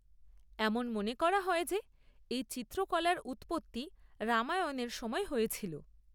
এমন মনে করা হয় যে এই চিত্রকলার উৎপত্তি রামায়ণের সময় হয়েছিল।